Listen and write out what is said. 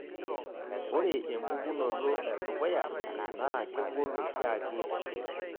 ore empukunoto edukuya naa kegol oshiake oleng'